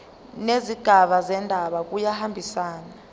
nezigaba zendaba kuyahambisana